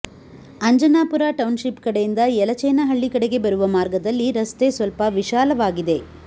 Anjanapura township ಕಡೆಯಿಂದ ಯಲಚೇನಹಳ್ಳಿ ಕಡೆಗೆ ಬರುವ ಮಾರ್ಗದಲ್ಲಿ ರಸ್ತೆ ಸ್ವಲ್ಪ ವಿಶಾಲವಾಗಿದೆ